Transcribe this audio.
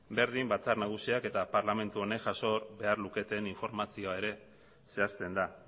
berdin batzar nagusiak eta parlamentu honek jaso behar luketen informazioa ere zehazten da